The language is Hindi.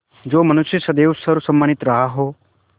जो मनुष्य सदैव सर्वसम्मानित रहा हो